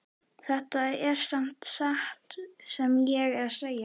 Þetta er samt satt sem ég er að segja